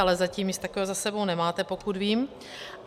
Ale zatím nic takového za sebou nemáte, pokud vím.